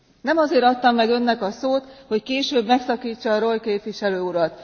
Nem azért adtam meg Önnek a szót, hogy később megszakítsa Reul képviselő urat.